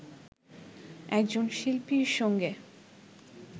একজন শিল্পীর সঙ্গে